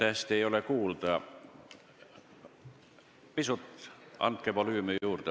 Andke oma kõnele pisut volüümi juurde.